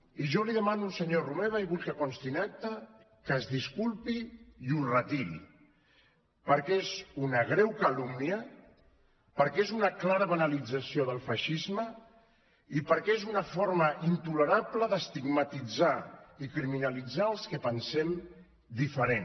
i jo li demano al senyor romeva i vull que consti en acta que es disculpi i ho retiri perquè és una greu calúmnia perquè és una clara banalització del feixisme i perquè és una forma intolerable d’estigmatitzar i criminalitzar els que pensem diferent